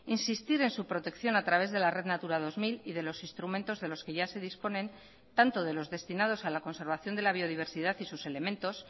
insistir en su protección a través de la red natura dos mil y de los instrumentos de los que ya se disponen tanto de los destinados a la conservación de la biodiversidad y sus elementos